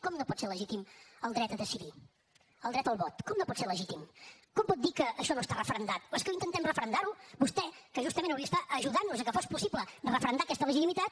com no pot ser legítim el dret a decidir el dret al vot com no pot ser legítim com pot dir que això no està referendat és que intentem referendar ho vostè que justament hauria d’estar ajudant nos a que fos possible referendar aquesta legitimitat